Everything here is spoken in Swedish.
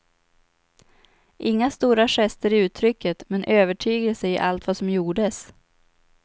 Inga stora gester i uttrycket, men övertygelse i allt vad som gjordes.